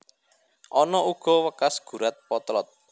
Ana uga wekas gurat potlot